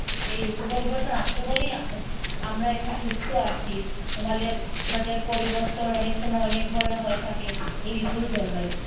এই ঋতু পরিবর্তন আছে বলেই আম~ আমরা এখন সুস্থ আছি। আমাদের মেয়েদের পরিবর্তন অনেক সময় অনেক ধরনের হয়ে থাকে এই ঋতুর জন্যই।